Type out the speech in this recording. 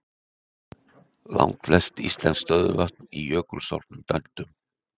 Langflest íslensk stöðuvötn í jökulsorfnum dældum.